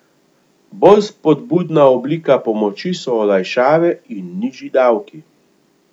Bolj spodbudna oblika pomoči so olajšave in nižji davki.